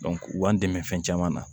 u b'an dɛmɛ fɛn caman na